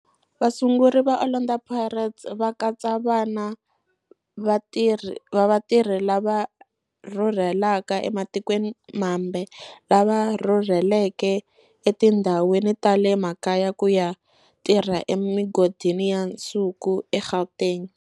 Vasunguri va Orlando Pirates va katsa vana va vatirhi lava rhurhelaka ematikweni mambe lava rhurheleke etindhawini ta le makaya ku ya tirha emigodini ya nsuku eGauteng.